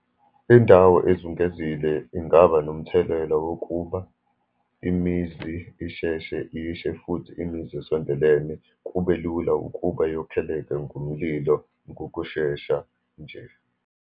Indawo ezungezile ingaba nomthelela wokuba imizi isheshe ishe, futhi imizi esondelene kube lula ukuba yokholeka ngomlilo ngokushesha nje.